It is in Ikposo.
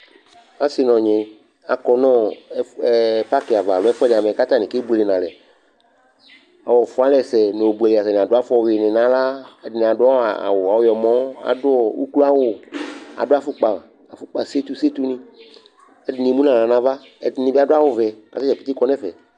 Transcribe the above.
Asɩ nʋ ɔnyɩ akɔ nʋ ɛf ɛ pakɩ ava alo ɛfʋɛdɩ amɛ kʋ atanɩ kebuele nʋ alɛ Ɔfʋalɛsɛ nʋ obuele nʋ alɛ Atanɩ adʋ afʋwuinɩ nʋ aɣla Ɛdɩnɩ adʋ awʋ ɔyɔmɔ, adʋ ukloawʋ, adʋ afʋkpa, afʋkpa setu setunɩ kʋ ɛdɩnɩ emu nʋ aɣla nʋ ava Ɛdɩnɩ bɩ adʋ awʋvɛ kʋ ata dza pete kɔ nʋ ɛfɛ